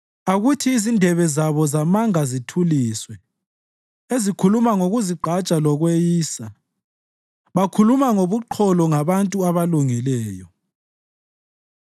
Akuthi izindebe zabo zamanga zithuliswe, ezikhuluma ngokuzigqaja lokweyisa bakhuluma ngobuqholo ngabantu abalungileyo.